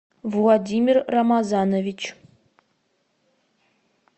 владимир рамазанович